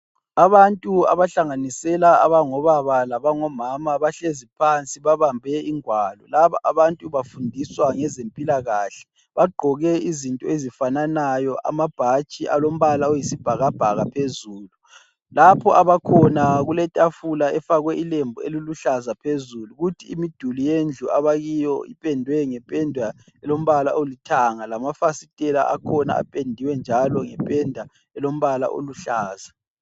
Abantu abahlanganisela abangobaba labangomama bahlezi phansi babambe ingwalo. Laba abantu bafundiswa ngezempilakahle. Bagqoke izinto ezifananayo, amabhatshi alombala oyisibhakabhaka phezulu. Lapho abakhona kuletafula efakwe ilembu eliluhlaza phezulu. Kuthi imiduli yendlu abakiyo ipendwe ngependa elombala olithanga. Lamafasitela akhona apendiwe njalo ngependa elombala oluhlaza.